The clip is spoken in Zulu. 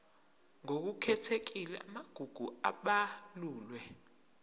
ngokukhethekile amagugu abalulwe